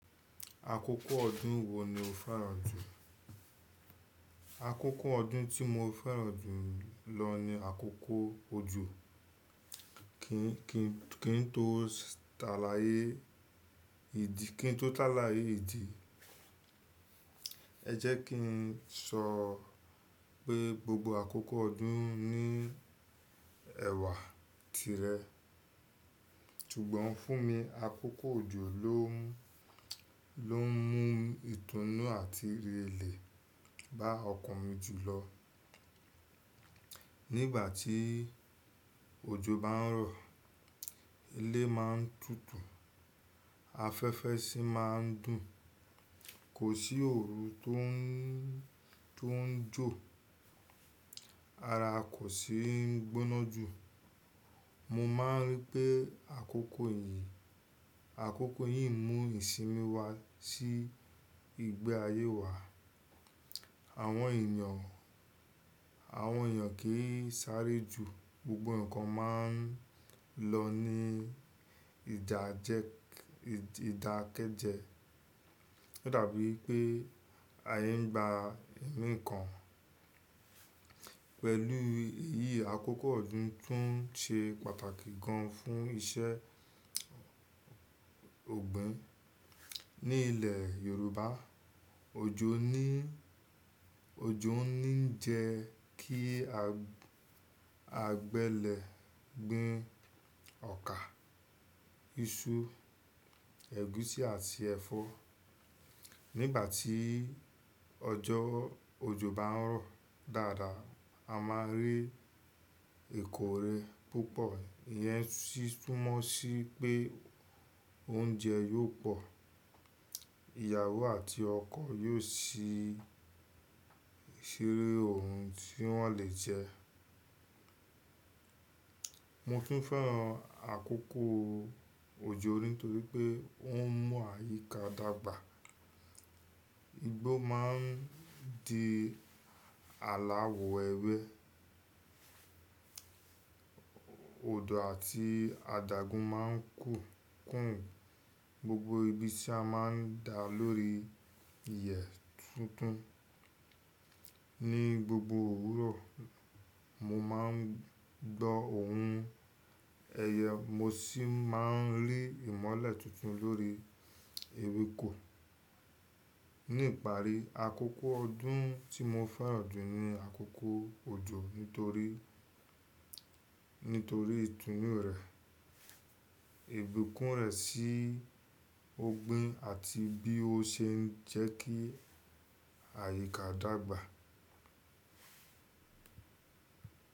Àkókò ọdún wo ni o fẹ́ràn jù? Àkókò ọdún tí mo fẹ́ràn jù lọ ni àkókò òjò. Kí, kí n tó ta láyé ìdí, kí n tó tá láyé ìdí, ẹ jẹ́ kí n sọ pé gbogbo àkókò ọdún ní ẹ̀wà tirẹ̀. Tugbọn fún mi, àkókò òjò ló n mú ìtúnú àti irelẹ̀ bá ọkàn mi jù lọ. Nígbà tí òjò bá ń rọ̀, ilé ma ń tutù, afẹ́fẹ́ sì máa ń dùn, kò sí òru tó ń, tó ń jò, ara kò sì ń gbóná jù. Mo máa ń rí pé àkókò yìí, àkókò yìí mú ìsinmi wá sí ìgbé ayé wa. Àwọn èèyàn, àwọn èèyàn kì í sáré ju, gbogbo ǹkan máa ń lọ ní ìdájẹk-- ìdákẹ́jẹ. Ó dàbí pé ayé ń gba ẹ̀mí kan. Pẹ̀lú èyí, àkókò ọdún tún ṣe pàtàkì gan fún iṣẹ́ ọ̀gbìn. Ní ilẹ̀ Yorùbá, òjò ni, òjò ń ní jẹ́ kí agbẹlẹ̀ gbin ọkà, iṣu, ẹ̀gúsí àti ẹ̀fọ́. Nígbà tí ọjọ́ òjò bá ń rọ̀ dáadáa, a máa rí èkòrè púpọ̀. Ìyẹn sì túmọ̀ sí pé oúnjẹ yóò pọ̀. Ìyàwó àti ọkọ̀ yóò sì ṣe ohun tí wọ́n lè jẹ. Mo kì í fẹ́ràn àkókò òjò nítorí pé ó ń mú àyíká dàgbà. Igbó máa ń di aláwọ̀ ewé, odò àti àdàgún máa ń kù, kùn. Gbogbo ibi tí a máa ń da lórí ìyẹ̀ tuntun. Ni gbogbo òwúrọ̀, mo máa ń gbọ́ ohùn ẹyẹ, mo sì máa ń rí ìmọ́lẹ̀ tuntun lórí ewéko. Ní ìparí, àkókò ọdún tí mo fẹ́ràn jù ni àkókò òjò nítorí, nítorí ìtúnú rẹ̀, ìbíkún rẹ̀ sí ọ̀gbìn àti bí ó ṣe ń jẹ́ kí àyíká dàgbà.